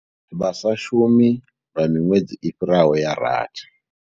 Vha sa shumi lwa miṅwedzi i fhiraho ya rathi.